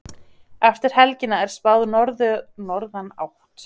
Eftir helgina er spáð norðanátt